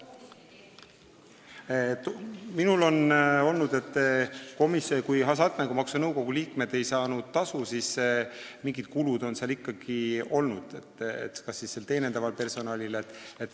Minul on teave, et kuigi nõukogu liikmed ei saanud tasu, siis mingid kulutused seal ikkagi olid, kas või teenindavale personalile.